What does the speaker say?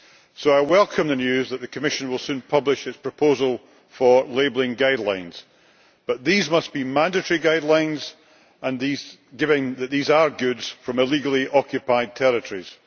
So I welcome the news that the Commission will soon publish its proposal for labelling guidelines, but these must be mandatory guidelines showing that these are goods from illegally occupied territories.